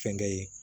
Fɛnkɛ ye